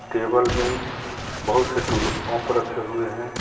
Table में बहुत से टुल पंप रखे हुए हैं.